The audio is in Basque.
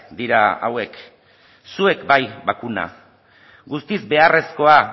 dira hauek zuek bai bakuna guztiz beharrezkoa